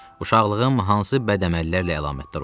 Uşaqlığım hansı bədəməllərlə əlamətdar olub?